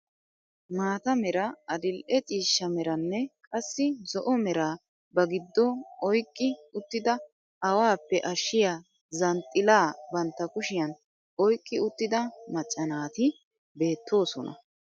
Mata era adil'e ciishsha meranne qassi zo'o meraa ba giddo oyqqi uttida awaappe ashiyaa zanxxilaa bantta kushiyaan oyqqi uttida macca naati beettoosona.